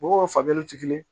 Mɔgɔw ka faamuyali ti kelen ye